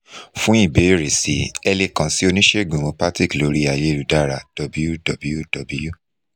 fun ìbéèrè sí i ẹ le kan si oníṣègùn homeopathic lórí ayélujára www